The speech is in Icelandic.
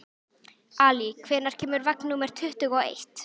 Ali, hvenær kemur vagn númer tuttugu og eitt?